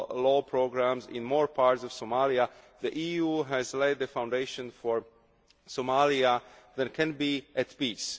law programmes in more parts of Somalia, the EU has laid the foundations for a Somalia that can be at peace.